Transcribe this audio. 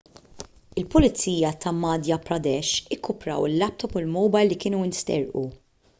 il-pulizija ta' madhya pradesh irkupraw il-laptop u l-mowbajl li kienu nsterqu